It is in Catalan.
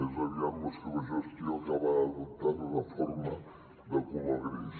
més aviat la seva gestió acabarà adoptant una forma de color gris